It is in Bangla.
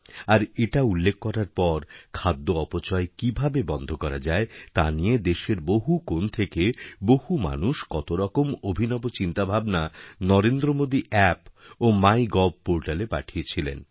আর এটা উল্লেখ করার পর খাদ্য অপচয় কীভাবে বন্ধ করা যায় তা নিয়ে দেশেরবহু কোণ থেকে বহু মানুষ কতরকম অভিনব চিন্তাভাবনা নরেন্দ্র মোদী অ্যাপ ও মাই গভপোর্টালে পাঠিয়েছিলেন